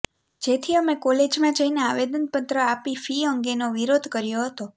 જેથી અમે કોલેજમાં જઈને આવેદનપત્ર આપી ફી અંગેનો વિરોધ કર્યો હતો